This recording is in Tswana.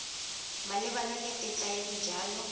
malebana le tetla ya dijalo